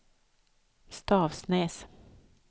Stavsnäs